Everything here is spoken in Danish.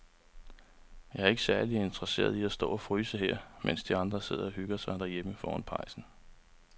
Jeg er ikke særlig interesseret i at stå og fryse her, mens de andre sidder og hygger sig derhjemme foran pejsen.